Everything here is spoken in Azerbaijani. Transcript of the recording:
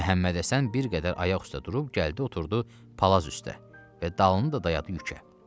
Məhəmmədhəsən bir qədər ayaq üstə durub gəldi oturdu palaz üstə və dalını da dayadı yükə.